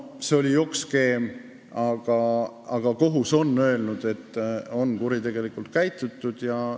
See oli jokkskeem ja kohus on öelnud, et on kuritegelikult käitutud.